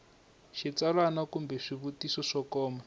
xitsalwana kumbe swivutiso swo koma